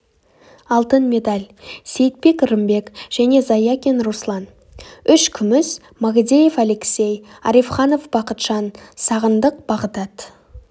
алтын медаль сейітбек рымбек және заякин руслан үш күміс магдеев алексей арифханов бақытжан сағындық бағдат